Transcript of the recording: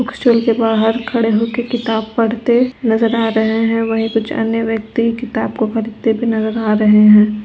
Book stall के बाहर खड़े होकर किताब पड़ते नजर आ रहे हैं वही कुछ अन्य व्यक्ति किताब को खरीदते भी नजर आ रहे है।